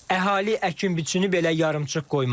Əhali əkin-biçini belə yarımçıq qoymadı.